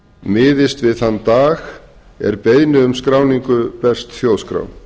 miðist við þann dag er beiðni um skráningu berst þjóðskrá